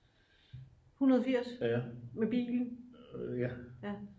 180 med bil?